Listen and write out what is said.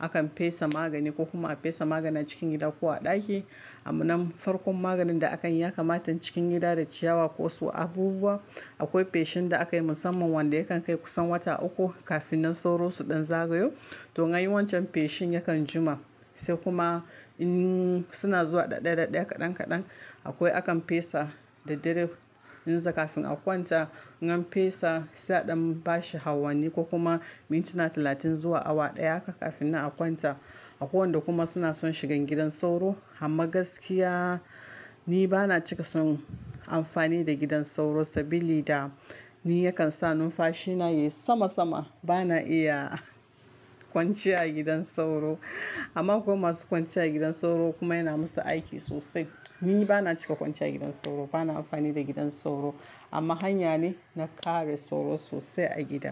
akan fesa magani ko kuma a fesa magani a cikin gida ko a ɗaki. Amma farkon maganin da akan yi ya kamata in cikin gida da ciyawa ko so abubuwa. Akwai feshin da aka yi musamman wanda yakan kai kusan wata uku kafin nan sauro su ɗan zagayo. To, in an yi wancan feshin yakan jima sai kuma in suna zuwa ɗai ɗaya ɗai ɗaya kaɗan kaɗan akwai akan fesa daraddare in kafin a kwanta. In an fesa sai aɗan bashi awanni ko kuma mintuna talatin zuwa awa ɗaya haka kafin nan a kwanta. Akwai wanda kuma suna son shigan gidan sauro. Amma gaskiya ni bana cika son amfani da gidan sauro sabili da ni yakan sa numfashi na yayi sama sama. Bana iya kwanciya gidan sauro. Amma akwai masu kwanciya gidan sauro kuma yana musu aiki sosai. Ni bana cika kwanciya a gidan sauro, bana amfani da gidan sauro amma hanya ne na kare sauro sosai a gida.